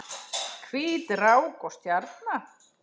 Hvít rák og stjarna